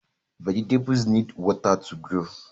Vegetables need water to grow